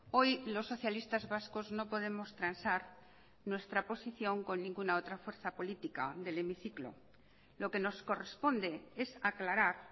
hoy los socialistas vascos no podemos transar nuestra posición con ninguna otra fuerza política del hemiciclo lo que nos corresponde es aclarar